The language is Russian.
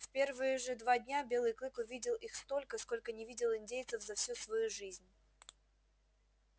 в первые же два дня белый клык увидел их столько сколько не видел индейцев за всю свою жизнь